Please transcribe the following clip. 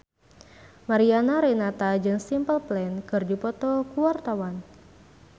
Mariana Renata jeung Simple Plan keur dipoto ku wartawan